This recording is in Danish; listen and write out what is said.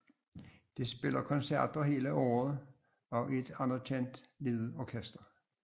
Det spiller koncerter hele året og er et anerkendt lille orkester